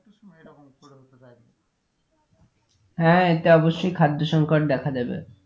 হ্যাঁ এতে অবশই খাদ্য সংকট দেখা দেবে।